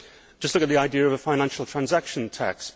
Just look at the idea of a financial transaction tax.